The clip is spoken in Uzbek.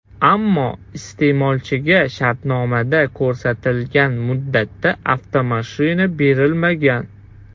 Ammo iste’molchiga shartnomada ko‘rsatilgan muddatda avtomashina berilmagan.